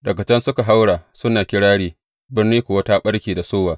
Daga can suka haura suna kirari, birni kuwa ta ɓarke da sowa.